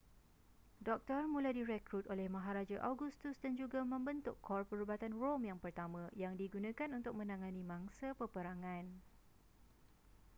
doktor mula direkrut oleh maharaja augustus dan juga membentuk kor perubatan rom yang pertama yang digunakan untuk menangani mangsa peperangan